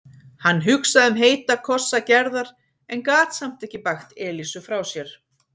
Hann hugsaði um heita kossa Gerðar en gat samt ekki bægt Elísu frá sér.